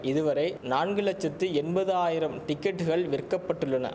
இதுவரை நான்கு லட்சத்து எண்பதாயிரம் டிக்கெட்டுகள் விற்க பட்டுள்ளன